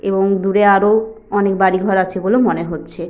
এবং দূরে আরো অনেক বাড়িঘর আছে বলে মনে হচ্ছে।